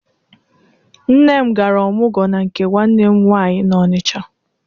Nne m gara ọmụgwọ na nke nwanne m nwaanyị n'Ọnịcha.